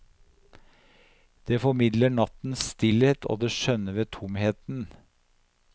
Det formidler nattens stillhet og det skjønne ved tomheten.